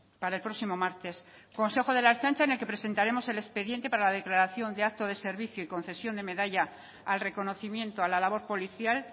para el próximo martes consejo de la ertzaintza en el que presentaremos el expediente para la declaración de acto de servicio y concesión de medalla al reconocimiento a la labor policial